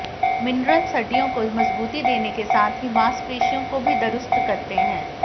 minerals हड्डियों को मजबूती देने के साथ ही मांसपेशियों को भी दुरुस्त करते हैं